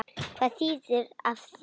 Hvað þýðir af því bara?